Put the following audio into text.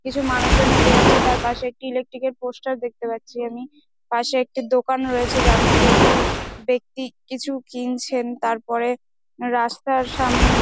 কিছু মানুষ জন হেটে যাচ্ছে তার পাশে একটি ইলেকট্রিক এর পোস্টার দেখতে পারছি আমি পাশে একটি দোকান দেখতে রয়েছে যার মধ্যে একটি দোকান রয়েছে যার মধ্যে একটি বেক্তি কিছু কিনছেন তারপরে রাস্তার সামনে।